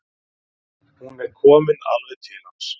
Hún er komin alveg til hans.